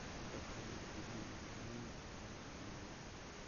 как перевести деньги на номер с помощью команды